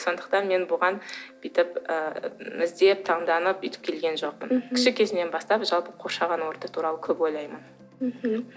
сондықтан мен бұған бүйтіп ы іздеп таңданып өйтіп келген жоқпын мхм кіші кезімнен бастап жалпы қоршаған орта туралы көп ойлаймын мхм